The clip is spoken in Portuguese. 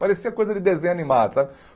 Parecia coisa de desenho animado, sabe?